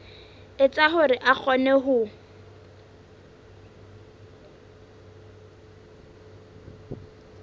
etsa hore a kgone ho